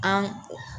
An